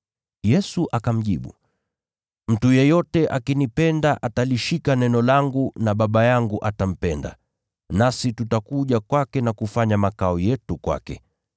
Yesu akamjibu, “Mtu yeyote akinipenda atalishika neno langu na Baba yangu atampenda, nasi tutakuja kwake na kufanya makao yetu kwake.